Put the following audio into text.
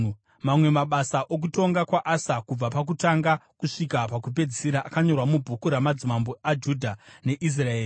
Mamwe mabasa okutonga kwaAsa, kubva pakutanga kusvika pakupedzisira akanyorwa mubhuku ramadzimambo aJudha neIsraeri.